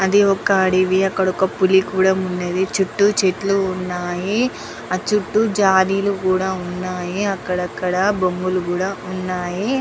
అది ఒక అడివి అక్కడ ఒక పులి కూడా ఉన్నది. చుట్టూ చెట్లు ఉన్నాయి. ఆ చుట్టూ జాలీలు కూడా ఉన్నాయి. అక్కడక్కడ బొమ్మలు కూడా ఉన్నాయి.